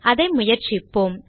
அதை முயற்சிப்போம்